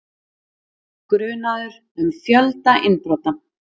Grunaður um fjölda innbrota